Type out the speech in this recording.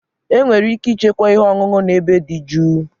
Enwere ike ịchekwa ihe ọṅụṅụ na ebe dị jụụ.